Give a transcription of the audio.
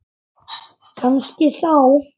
Kannski þá.